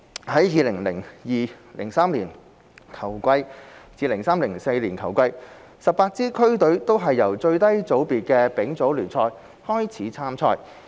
在 2002-2003 球季至 2003-2004 球季 ，18 支區隊都是由最低組別的丙組聯賽開始參賽。